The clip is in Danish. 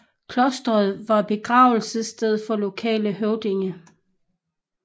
Klosteret var begravelsesstedet for lokale høvdinge